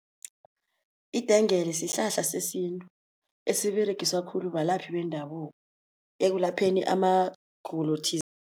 Idengele sihlahla sesintu esiberegiswa khulu balaphi bendabuko ekulapheni amagulo